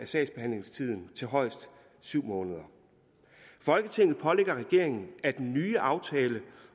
sagsbehandlingstiden til højst syv måneder folketinget pålægger regeringen at den nye aftale